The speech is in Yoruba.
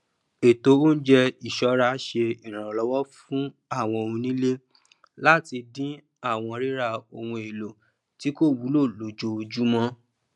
ètò oúnjẹ iṣọra ṣe ìrànlọwọ fún àwọn onílé láti dín àwọn rírà ohun èlò tí kò wúlò lójoojúmọ